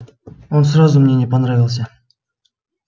он сразу мне не понравился